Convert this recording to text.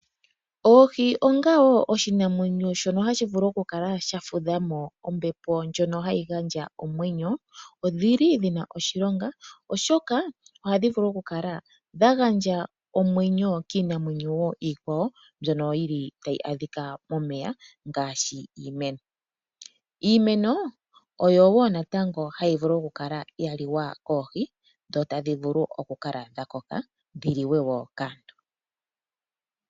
Oohi onga oshinamwenyo shono hashi vulu okukala sha fudha mo ombepo ndjono hayi gandja omwenyo odhi na oshilonga, oshoka ohadhi vulu okukala dha gandja omwenyo kiinamwenyo iikwawo mbyono tayi adhika momeya ngaashi iimeno. Iimeno oyo wo natango hayi vulu okukala ya liwa koohi dho tadhi vulu okukala dha koka dhi liwe wo kaantu.